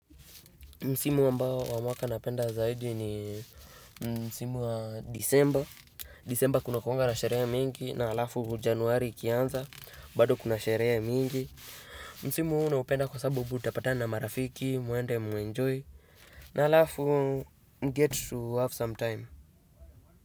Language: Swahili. Msimu ambao wa mwaka napenda zaidi ni msimu wa Desemba, Desembakuna sherehe nyingi, na halafu Januari ikianza. Bado kuna sherehe mingi. Msimu huu naupenda kwa sababu utapatana marafiki. Mwende muenjoy na alafu get to have some time.